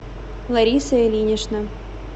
лариса ильинична